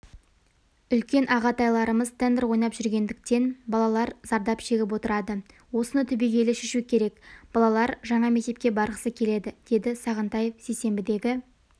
үлкен ағатайларымыз тендер ойнап жүретіндіктен балалар зардап шегіп отырады осыны түбегейлі шешу керек балалар жаңа мектепке барғысы келеді деді сағынтаев сейсенбідегі